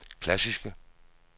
klassiske